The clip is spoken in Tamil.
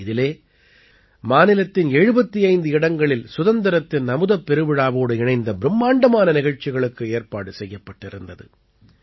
இதிலே மாநிலத்தின் 75 இடங்களில் சுதந்திரத்தின் அமுதப் பெருவிழாவோடு இணைந்த பிரும்மாண்டமான நிகழ்ச்சிகளுக்கு ஏற்பாடு செய்யப்பட்டிருந்தது